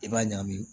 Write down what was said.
I b'a ɲagami